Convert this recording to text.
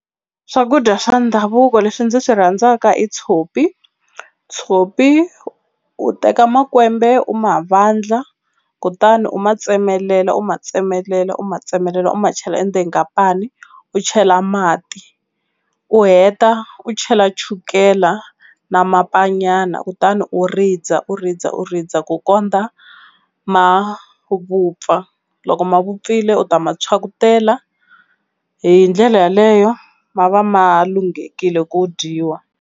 Swakudya swa ndhavuko leswi ndzi swi rhandzaka i tshopi tshopi u teka makwembe u ma vandla kutani u ma tsemelela u ma tsemelela u ma tsemelela u ma chela endzeni ka pani u chela mati u heta u chela chukela na mapa nyana kutani u rindza u rindza u rindza ku kondza ma vupfa loko ma vupfile u ta ma phyakutela hi ndlela yeleyo ma va ma lunghekile ku dyiwa.